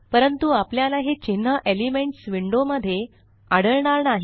परंतु आपल्याला हे चिन्ह एलिमेंट्स विंडो मध्ये आढळणार नाही